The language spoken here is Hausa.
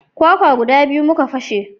Kwakwa guda biyu muka fashe